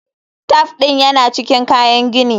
Taf ɗin yana cikin kayan gini.